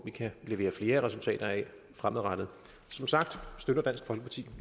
vi kan levere flere resultater fremadrettet som sagt støtter dansk folkeparti